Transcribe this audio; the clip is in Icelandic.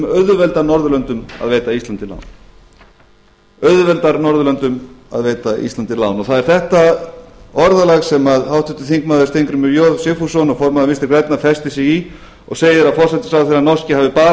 auðveldaði norðurlöndum að veita íslandi lán og það er þetta orðalag sem háttvirtur þingmaður steingrímur j sigfússon og formaður vinstri grænna festi sig í og segir að forsætisráðherrann norski hafi bara